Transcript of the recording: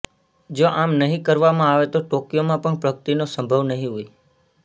જો આમ નહીં કરવામાં આવે તો ટોકિયોમાં પણ પ્રગતિનો સંભવ નહીં હોય